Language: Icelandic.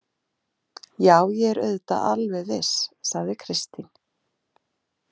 Já, ég er auðvitað alveg viss, sagði Kristín.